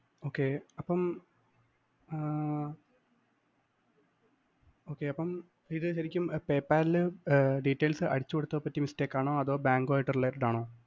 okay അപ്പം ആഹ് okay അപ്പം ഇത് ശരിക്കും PayPal ല്‍ ഏർ details അടിച്ചുകൊടുത്തപ്പം പറ്റിയ mistake ആണോ അതോ ബാങ്കുമായി related ആണോ?